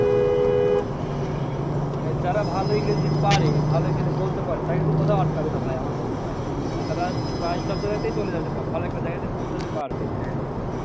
হ্যাঁ মানে যারা ভালো ইংরেজি পারে ভালো ইংরেজি বলতে পারে তার কিন্তু কোথাও আটকাবে না ভাইয়া আমার মনে হয়। তারা প্রায় সবজায়গাতেই চলে যাচ্ছে ভালো একটা জায়গাতে পৌঁছতে পারবে।